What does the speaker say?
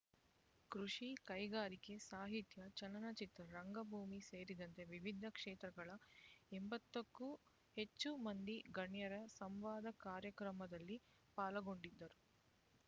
ಕೃಷಿ ಕೈಗಾರಿಕೆ ಸಾಹಿತ್ಯ ಚಲನಚಿತ್ರ ರಂಗಭೂಮಿ ಸೇರಿದಂತೆ ವಿವಿಧ ಕ್ಷೇತ್ರಗಳ ಎಂಬತ್ತಕ್ಕೂ ಹೆಚ್ಚು ಮಂದಿ ಗಣ್ಯರು ಸಂವಾದ ಕಾರ್ಯಕ್ರಮದಲ್ಲಿ ಪಾಲ್ಗೊಂಡಿದ್ದರು